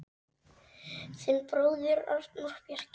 Þinn bróðir, Arnór Bjarki.